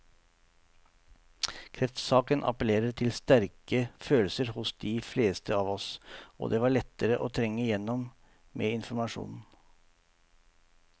Kreftsaken appellerer til sterke følelser hos de fleste av oss, og det var lettere å trenge igjennom med informasjon.